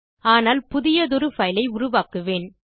ஆனால் புதியதொரு பைல் ஐ உருவாக்குவேன்